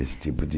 Esse tipo de...